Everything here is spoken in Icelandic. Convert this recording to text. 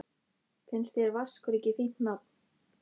Finnst þér Vaskur ekki fínt nafn?